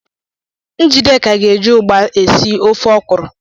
Njideka ga-eji ugba esi ofe okwụrụ.